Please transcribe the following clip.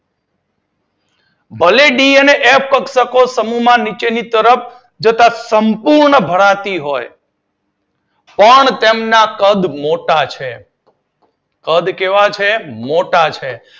ભલે ડી અને એફ કક્ષક સમૂહમાં નીચેની તરફ સંપૂર્ણ ભરાતી હોય. પણ તેના કદ મોટા છે. કદ કેવા છે? મોટા છે.